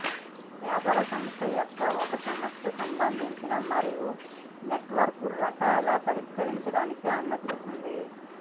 వ్యాపార సంస్థ యొక్క ఒక సమస్య సంబంధించిన మరియు నెట్వర్క్ రకాల పరిష్కరించడానికి అనుమతిస్తుంది